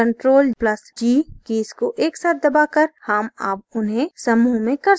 ctrl + g keys को एक साथ दबाकर हम अब उन्हें समूह में कर सकते हैं